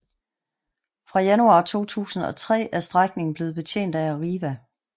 Fra januar 2003 er strækningen blevet betjent af Arriva